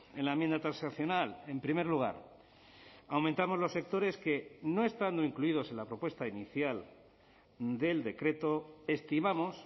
en la enmienda transaccional en primer lugar aumentamos los sectores que no estando incluidos en la propuesta inicial del decreto estimamos